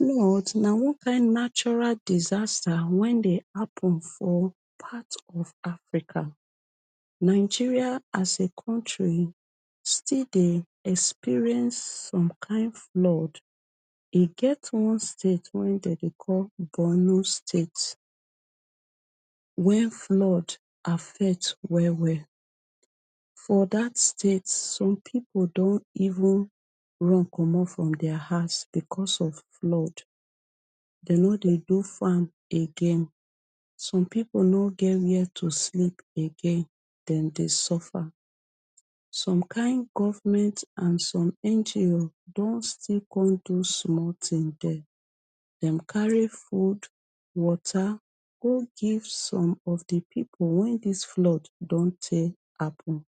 na one kaind natural disaster wen de hapun for part of africa nigeria as a country still dey experience some kind fload e get one state wenin them dey call borno state wen flood affect well well for dat state some pipo don even run comot from dia hause because of flood dey no dey do farm again some people no get where to sleep again dey dey suffer some kain government and some NGO don still come do small tin there, dem carry food, water go give some of di people wen this flood don take happen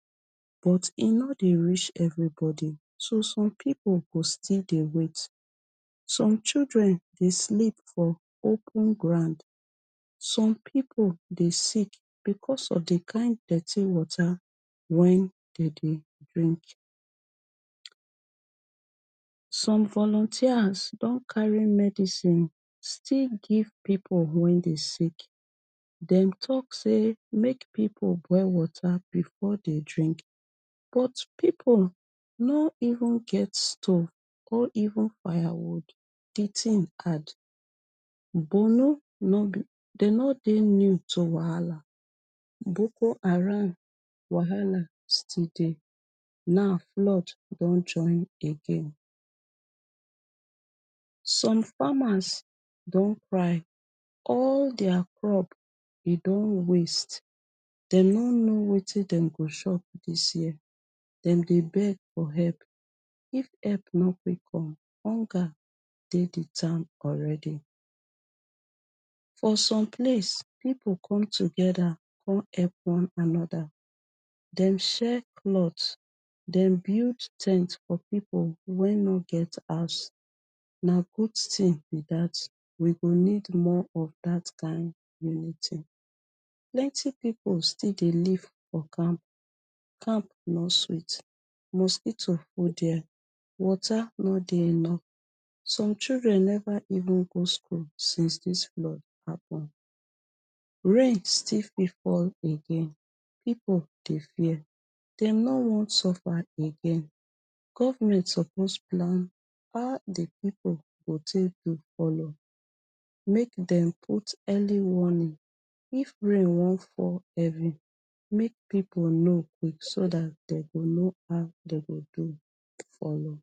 but e no dey reach everybody so some people go still dey wait some children dey sleep for open ground some people dey sick because of di kind dirty water wen dey dey drink some volunteer don carry medicine still give people wen dey sick dem talk say make people boil water before dem drink but people no even get stov or even firewood di tin add Bornu no be dey no dey new to wahala boko haram wahala still dey now flood don join again some farmers don cry all their crop e don waste dem no no wetin dem go shop this year dem dey beg for help if help no quick come hunger dey di town already for some place people come together come elp one another dem sharek cloth dem build ten t for people wen no get house na good tin be that we go need more of that kind unity plenty people still dey leave for camp camp no sweet mosquito full there water no dey enou some children never even go school since this flood happen rain fit still fall again people dey fear dem no wan suffer again government suppose plan how di people go take do make dem put early warning if rain wan fall make people no quick so that dem go no how dem go do follow.